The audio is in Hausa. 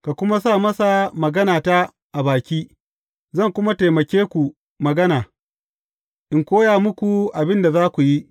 Ka kuma sa masa maganata a baki; zan kuma taimake ku magana, in koya muku abin da za ku yi.